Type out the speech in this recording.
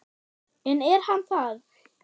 En er hann það?